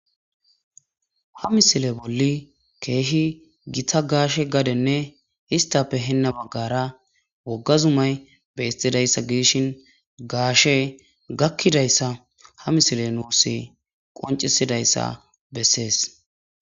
Ha misile bolli keehi gita gaashe gadenne histappe heenna baggara wogga zumay beistidayssa gidishin gaashe gakkidayssa ha misile nuussi qoncisidayssa bessees.